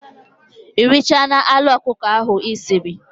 Ị richaala anụ ọkụkọ ahụ Ị siri?